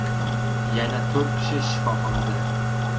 Yana to‘rt kishi shifoxonada.